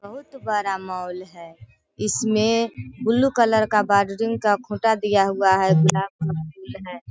बहुत बड़ा मॉल है। इसमें बुलु कलर का का खूटा दिया हुआ है ब्लैक वाला है।